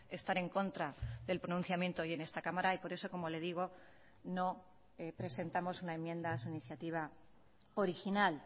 estar en contra del pronunciamiento hoy en esta cámara y por eso como le digo no presentamos una enmienda a su iniciativa original